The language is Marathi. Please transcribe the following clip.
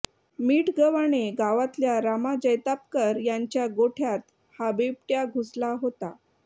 मिठगव्हाणे गावातल्या रामा जैतापकर यांच्या गोठ्यात हा बिबट्या घुसला होता